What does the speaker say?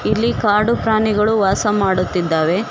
ಇಲ್ಲಿ ಕಾಡು ಪ್ರಾಣಿಗಳು ವಾಸ ಮಾಡುತ್ತಿದ್ದಾವೆ.